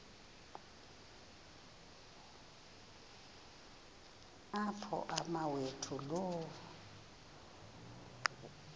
apho umawethu lo